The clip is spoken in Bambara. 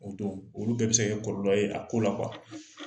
O dɔw, olu bɛɛ be se ka kɛ kɔlɔlɔ ye a ko la .